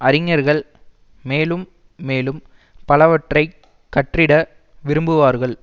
அறிஞர்கள் மேலும் மேலும் பலவற்றை கற்றிட விரும்புவார்கள்